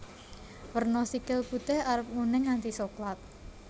Werna sikil putih arep nguning nganti soklat